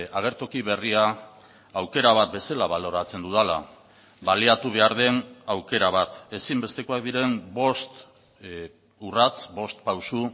agertoki berria aukera bat bezala baloratzen dudala baliatu behar den aukera bat ezinbestekoak diren bost urrats bost pauso